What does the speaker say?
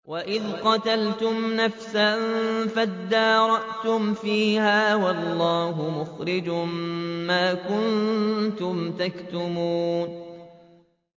وَإِذْ قَتَلْتُمْ نَفْسًا فَادَّارَأْتُمْ فِيهَا ۖ وَاللَّهُ مُخْرِجٌ مَّا كُنتُمْ تَكْتُمُونَ